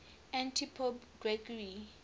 antipope gregory